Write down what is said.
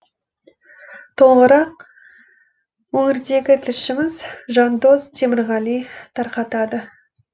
толығырақ өңірдегі тілшіміз жандос темірғали тарқатады